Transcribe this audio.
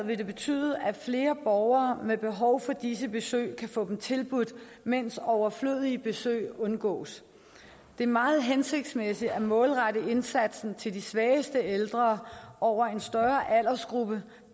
vil betyde at flere borgere med behov for disse besøg kan få dem tilbudt mens overflødige besøg undgås det er meget hensigtsmæssigt at målrette indsatsen til de svageste ældre over en større aldersgruppe